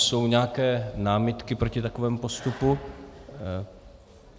Jsou nějaké námitky proti takovému postupu?